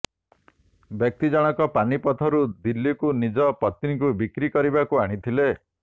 ବ୍ୟକ୍ତିଜଣକ ପାନିପଥରୁ ଦିଲ୍ଲୀକୁ ନିଜ ପତ୍ନୀକୁ ବିକ୍ରି କରିବାକୁ ଆଣିଥିଲେ